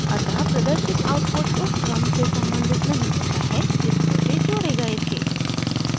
अतः प्रदर्शित आउटपुट उस क्रम से सम्बंधित नहीं होता है जिसमें वे जोड़े गए थे